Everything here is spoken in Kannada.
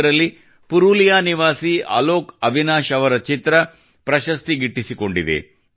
ಇದರಲ್ಲಿ ಪುರಲಿಯಾ ನಿವಾಸಿ ಅಲೋಕ್ ಅವಿನಾಶ್ ಅವರ ಚಿತ್ರ ಪ್ರಶಸ್ತಿ ಗಿಟ್ಟಿಸಿಕೊಂಡಿದೆ